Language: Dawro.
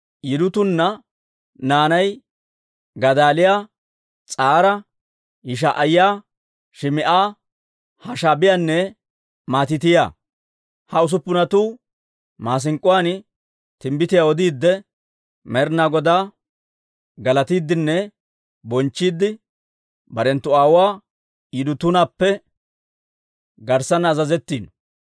Yidutuuna naanay Gadaaliyaa, S'ara, Yishaa'iyaa, Shim"a, Hashaabiyaanne Matiitiyaa. Ha usuppunatuu maasink'k'uwaan timbbitiyaa odiidde, Med'inaa Godaa galatiiddinne bonchchiidde, barenttu aawuwaa Yidutuunappe garssanna azazetteeddino.